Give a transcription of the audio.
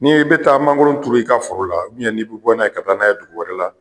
Ni i bi taa mankoro turu i ka foro la i bi bɔ n'a ye ka taa n'a ye dugu wɛrɛ la